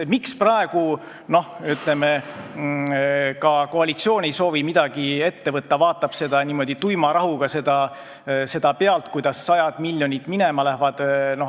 Miks praegu ka koalitsioon ei soovi midagi ette võtta, vaid vaatab niimoodi tuima rahuga pealt, kuidas sajad miljonid minema lähevad?